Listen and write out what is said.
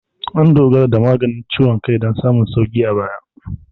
An dogara da maganin ciwon kai don samun sauƙi a baya.